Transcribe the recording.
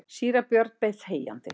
Síra Björn beið þegjandi.